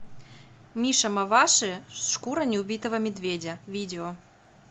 миша маваши шкура не убитого медведя видео